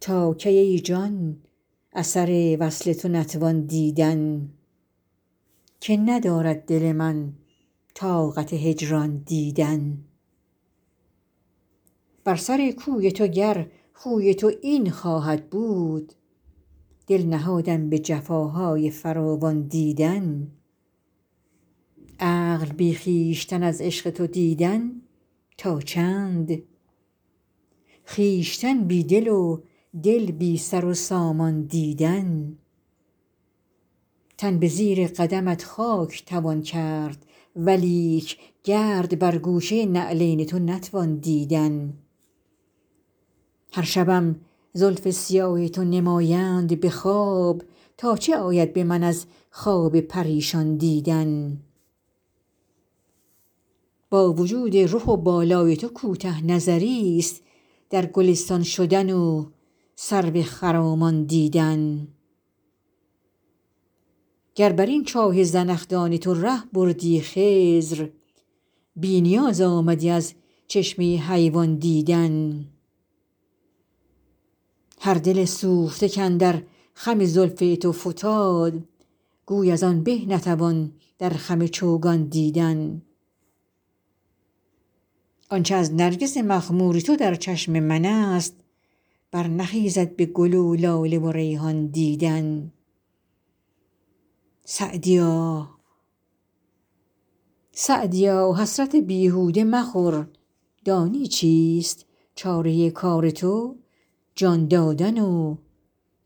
تا کی ای جان اثر وصل تو نتوان دیدن که ندارد دل من طاقت هجران دیدن بر سر کوی تو گر خوی تو این خواهد بود دل نهادم به جفاهای فراوان دیدن عقل بی خویشتن از عشق تو دیدن تا چند خویشتن بی دل و دل بی سر و سامان دیدن تن به زیر قدمت خاک توان کرد ولیک گرد بر گوشه نعلین تو نتوان دیدن هر شبم زلف سیاه تو نمایند به خواب تا چه آید به من از خواب پریشان دیدن با وجود رخ و بالای تو کوته نظریست در گلستان شدن و سرو خرامان دیدن گر بر این چاه زنخدان تو ره بردی خضر بی نیاز آمدی از چشمه حیوان دیدن هر دل سوخته کاندر خم زلف تو فتاد گوی از آن به نتوان در خم چوگان دیدن آن چه از نرگس مخمور تو در چشم من است برنخیزد به گل و لاله و ریحان دیدن سعدیا حسرت بیهوده مخور دانی چیست چاره کار تو جان دادن و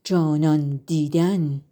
جانان دیدن